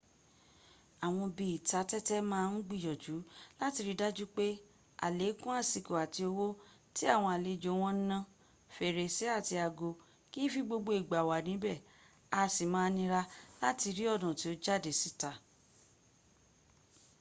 àwọn ibi ìta tẹ́tẹ́ máa ń gbìyànjú láti ri dájú pé àlékún àsìkò àti owó tí àwọn àlejò wọn ń ná́. fèrèsé àti ago kìí fi gbogbo ìgbà wà ní ibẹ̀ a sì máa nira láti rí ọnà tí ó jáde sí ìta